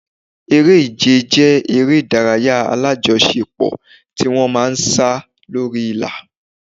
Eré-ìje jẹ́ eré ìdárayá alájọṣe pò tí wọ́n ma ń sá lórí ìlà.